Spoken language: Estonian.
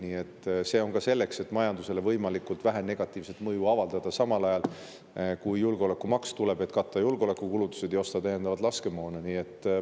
See on mõeldud nii ka selleks, et majandusele võimalikult vähe negatiivset mõju avaldada, samal ajal kui tuleb julgeolekumaks, millega katta julgeolekukulutusi ja osta täiendavat laskemoona.